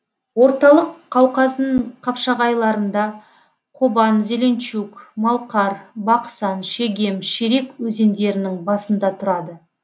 орталық қауқаздың қапшағайларында қобан зеленчук малқар бақсан шегем шерек өзендерінің басында тұрады